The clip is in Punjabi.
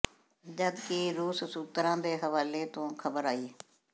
ਜਦ ਕਿ ਰੂਸ ਸੂਤਰਾਂ ਦੇ ਹਵਾਲੇ ਤੋਂ ਖ਼ਬਰ ਆਈ